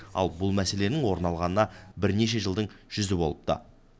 албұл мәселенің орын алғанына бірнеше жылдың жүзі болыпты